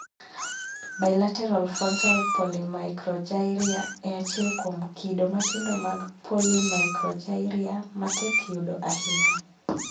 Bilateral frontal polymicrogyria e achiel kuom kido matindo mag polymicrogyria ma tek yudo ahinya